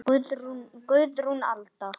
Guðrún Alda.